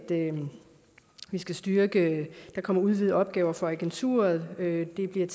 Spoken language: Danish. vi skal styrke der kommer udvidede opgaver for agenturet det bliver